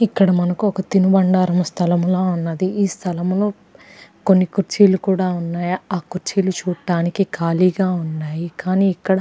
ఇక్కడ మనకు ఒక తినుబండారము స్థలము లా ఉన్నది ఈ స్థలములో కొన్ని కుర్చీలు కూడా ఉన్నాయి ఆ కుర్చీలు చూడ్డానికి ఖాళీగా ఉన్నాయి కానీ ఇక్కడ.